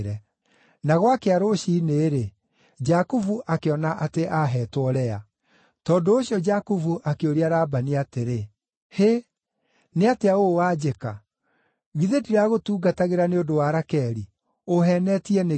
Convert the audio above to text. Na gwakĩa rũciinĩ-rĩ, Jakubu akĩona atĩ aaheetwo Lea! Tondũ ũcio Jakubu akĩũria Labani atĩrĩ, “Hĩ nĩ atĩa ũũ wanjĩka? Githĩ ndiragũtungatagĩra nĩ ũndũ wa Rakeli? Ũũheenetie nĩkĩ?”